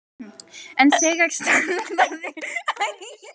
en þegar strandaðir hvalir hafa verið krufnir hafa magar þeirra reynst vera tómir